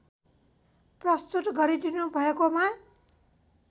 प्रस्तुत गरिदिनुभएकोमा